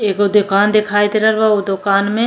एगो दोकान देखाई दे रहल बा। ओ दोकान में --